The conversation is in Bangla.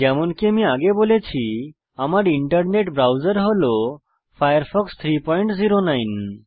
যেমনকি আমি আগে বলেছি আমার ইন্টারনেট ব্রাউজার হল ফায়ারফক্স 309